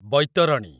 Baitarani